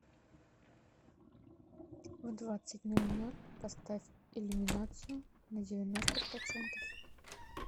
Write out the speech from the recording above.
в двадцать ноль ноль поставь иллюминацию на девяносто процентов